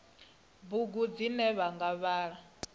bugu dzine vha nga vhala